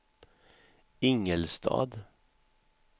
Ingelstad